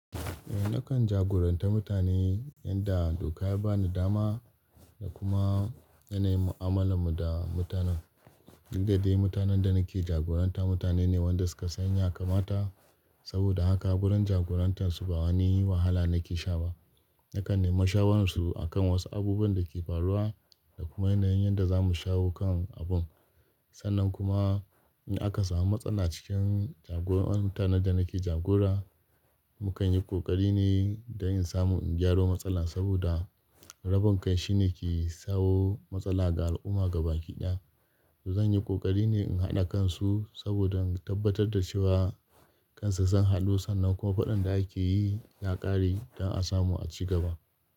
Eh nakan jagoranta mutane, yanda doka ya bani dama da kuma yanayin mu'amalar mu da mutanen. Duk da dai mutanen da nake jagoranta mutane ne wanda suka san ya kamata, saboda haka gurin jagorantar su ba wani wahala nake sha ba. Nakan nemi shawararsu akan wasu abubuwan da ke faruwa da kuma yanayin yanda za mu shawo kan abun. Sannan kuma in aka samu matsala cikin jagoran mutanen da nake jagora, mukan yi ƙoƙari ne don in samu in gyaro matsalar saboda rabin kai shine ke tsawo matsala ga al'umma gabaki ɗaya. To zan yi ƙoƙari ne in haɗa kansu saboda in tabbatar da cewa kansa sun haɗu sannan kuma faɗan da ake yi ya ƙare don a samu a ci gaba.